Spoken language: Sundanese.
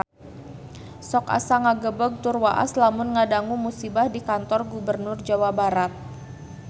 Sok asa ngagebeg tur waas lamun ngadangu musibah di Kantor Gubernur Jawa Barat